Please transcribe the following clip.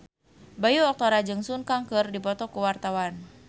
Bayu Octara jeung Sun Kang keur dipoto ku wartawan